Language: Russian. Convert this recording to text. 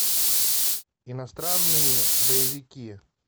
иностранные боевики